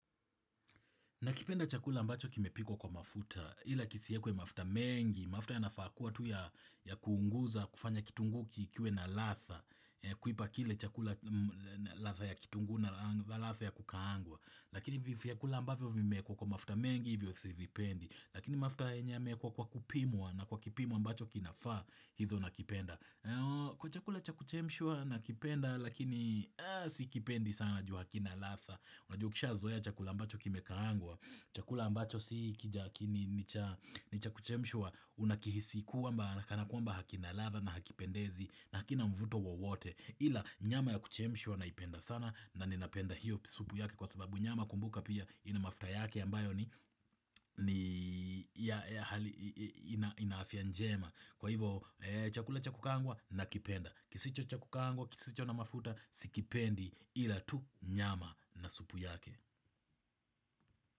Nakipenda chakula ambacho kimepikwa kwa mafuta, ila kisiekwe mafuta mengi, mafuta yanafaa kuwa tu ya kuunguza, kufanya kitungu kikiwe na ladha, kuipa kile chakula ladha ya kitungu na ladha ya kukaangwa, lakini hivi vyakula ambavyo vimekuwa kwa mafuta mengi, hivyo sivipendi, lakini mafuta yenye yameekwa kupimwa na kwa kipimo ambacho kinafaa, hizo nakipenda. Ladha ya kitungu na ladha ya kukaangwa, lakini hivi vyakula ambavyo vimeekwa kwa mafuta mengi, hivyo sivipendi, lakini mafuta yenye yameekwa kwa kupimwa na kwa kipimwa ambacho kinafaa, hizo nakipenda. Ni chakuchemshwa Unakihisi kwamba hakina ladha na hakipendezi na hakina mvuto wowote Ila nyama ya kuchemshwa naipenda sana na ninapenda hiyo supu yake Kwa sababu nyama kumbuka pia inamafuta yake ambayo ni hali ina afya njema Kwa hivo chakula chakukaangwa nakipenda kisicho chakukangwa, kisicho na mafuta, sikipendi ila tu nyama na supu yake.